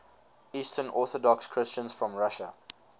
eastern orthodox christians from russia